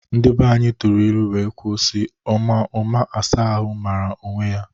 Ndi banyi tụrụ ilu wee kwuo si: Ọma ụma asa ahụ mara onwe ya!